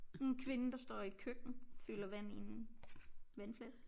En kvinde der står i et køkken fylder vand i en vandflaske